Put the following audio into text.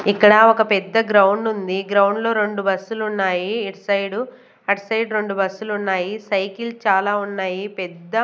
ఇక్కడ ఒక పెద్ద గ్రౌండ్ ఉంది గ్రౌండ్ లో రెండు బస్సులు ఉన్నాయి ఇటు సైడు అటు సైడు రెండు బస్సులు ఉన్నాయి సైకిల్ చాలా ఉన్నాయి పెద్ద.